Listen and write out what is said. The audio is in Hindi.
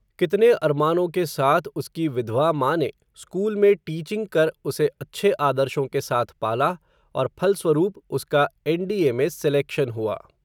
कितने अरमानों के साथ, उसकी विधवा माँ ने, स्कूल में टीचिंग कर उसे अच्छे आदर्शों के साथ पाला, और फलस्वरूप उसका एन डी ए में सेलेक्शन हुआ